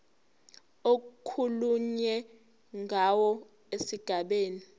okukhulunywe ngawo esigabeni